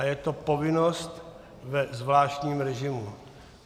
A je to povinnost ve zvláštním režimu.